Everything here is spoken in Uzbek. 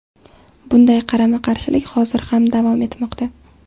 Bunday qarama-qarshilik hozir ham davom etmoqda.